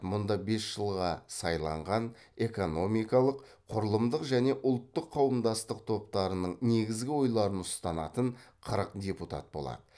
мұнда бес жылға сайланған экономикалық құрылымдық және ұлттық қауымдастық топтарының негізгі ойларын ұсынатын қырық депутат болады